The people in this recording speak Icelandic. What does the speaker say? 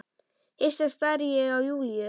Hissa stari ég á Júlíu.